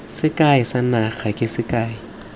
sekai sa naga ke sekai